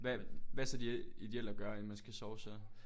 Hvad hvad er så det ideelle at gøre inden man skal sove så